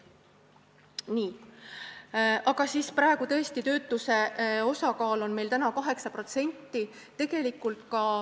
Nii, aga praegu on tõesti töötuse osakaal meil 8%.